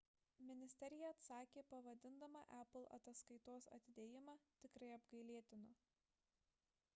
ministerija atsakė pavadindama apple ataskaitos atidėjimą tikrai apgailėtinu